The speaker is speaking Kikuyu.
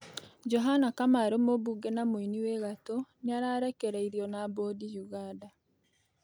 Johana Kamaru mũbunge na mũĩnĩ wĩ gatũ nĩararekereĩrĩo na Bondĩ Yuganda